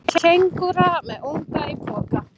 Kengúra með unga í poka.